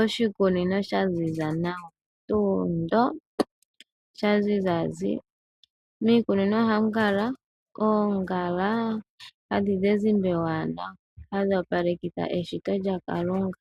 Oshikunino sha ziza nawa tuu ndo. Sha ziza zi. Miikunino ohamu kala oongala hadhi zi ezimba ewanawa hadhi opalekitha eshito lyaKalunga